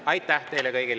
Aitäh teile kõigile!